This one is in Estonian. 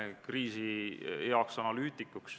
Austatud istungi juhataja!